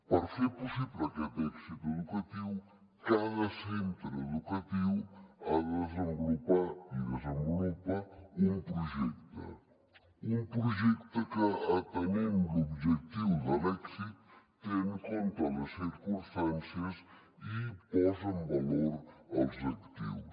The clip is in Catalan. per fer possible aquest èxit educatiu cada centre educatiu ha de desenvolupar i desenvolupa un projecte un projecte que atenent l’objectiu de l’èxit té en compte les circumstàncies i posa en valor els actius